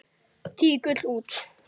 Tígull út.